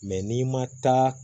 n'i ma taa